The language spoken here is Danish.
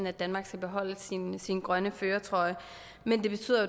at danmark skal beholde sin sin grønne førertrøje men det betyder